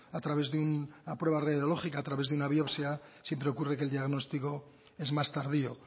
a través de una prueba radiológica a través de una biopsia siempre ocurre que el diagnóstico es más tardío